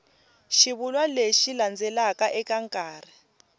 xivulwa lexi landzelaka eka nkarhi